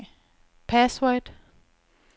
password